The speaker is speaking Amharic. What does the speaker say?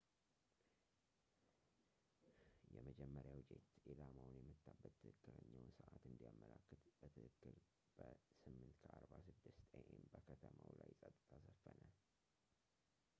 የመጀመሪያው ጄት ኢላማውን የመታበት ትክክለኛውን ሰዕት እንዲያመላክት በትክክል በ8:46 a.m በከተማው ላይ ጸጥታ ሰፈነ